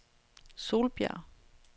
Solbjerg